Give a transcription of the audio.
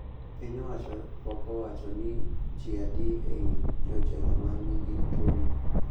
Piny owacho pok owacho ni ji adi e i jojela ma nigi tuoni